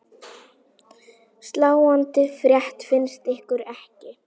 Sláandi frétt finnst ykkur ekki?